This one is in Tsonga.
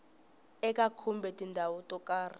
eka kumbe tindhawu to karhi